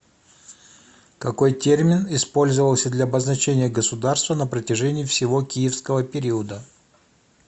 какой термин использовался для обозначения государства на протяжении всего киевского периода